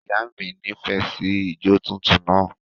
Ìyá mi nífẹ̀ẹ́ sí ìjọ tuntun náà.